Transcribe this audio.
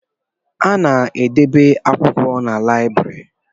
A na-edebe akwụkwọ na lịabiri